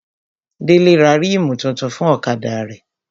Délé ra rímù tuntun fún ọ̀kadà rẹ̀